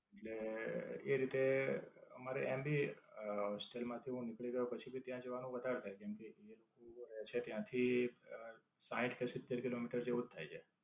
એટલે એ રીતે મારે એમ ભી અ હોસ્ટેલ માંથી હું નીકળી ગયો પછી થી ત્યાં જવાનું વધારે થાય. કેમકે, એક ફુવા રહે છે ત્યાંથી સાહીઠ કે સિત્તેર kilometers જેવું જ થાય છે.